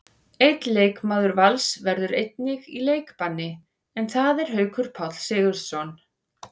Einn leikmaður Vals verður einnig í leikbanni, en það er Haukur Páll Sigurðsson.